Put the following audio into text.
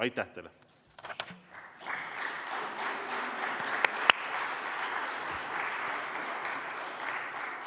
Aitäh teile!